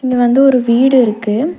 இங்க வந்து ஒரு வீடு இருக்கு.